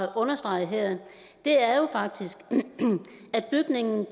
at understrege her er jo faktisk at bygningen